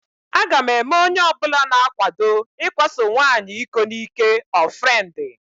Aga m eme onyeọbụla na-akwado ikwaso nwaanyị iko n'ị́kè ọnfrendi.